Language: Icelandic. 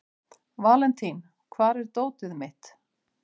Valentín, hvar er dótið mitt?